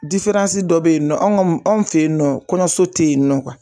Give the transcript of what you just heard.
dɔ be yen nɔn, anw anw fe yen nɔ, kɔɲɔso te yen nɔ